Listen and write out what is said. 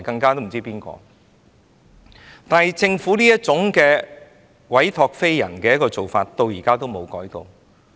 但是，政府這種所託非人的做法，到現在也沒有改變。